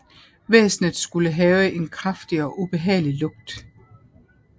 Væsenet skulle have en kraftig og ubehagelig lugt